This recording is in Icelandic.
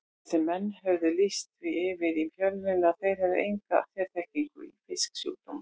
Þessir menn höfðu lýst því yfir í fjölmiðlum að þeir hefðu enga sérþekkingu í fisksjúkdómum.